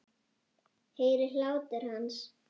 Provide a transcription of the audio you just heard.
Heyri hlátur hans.